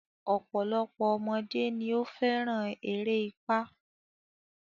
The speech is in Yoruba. Ọ̀pọ̀lọpọ̀ ọmọdé ni ó fẹ́ràn eré ipá.